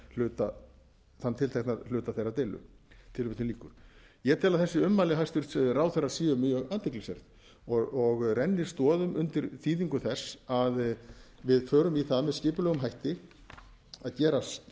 var um þann tiltekna hluta þeirrar deilu ég tel að þessi ummæli hæstvirts ráðherra séu mjög athyglisverð og renni stoðum undir þýðingu þess að við förum í það með skipulegum hætti að gera